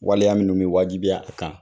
Waleya minun be wajibiya a kan.